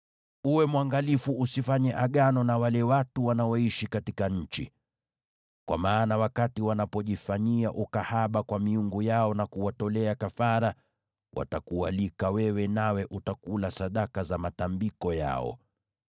“Uwe mwangalifu usifanye agano na wale watu wanaoishi katika nchi, kwa maana wakati wanapojifanyia ukahaba kwa miungu yao na kuwatolea kafara, watakualika wewe nawe utakula sadaka za matambiko yao.